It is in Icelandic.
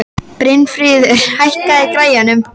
Brynfríður, hækkaðu í græjunum.